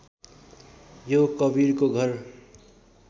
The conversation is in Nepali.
यो कवीरको घर